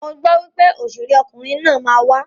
Mo gbọ wípé òṣèré ọkunrin naa ma wa.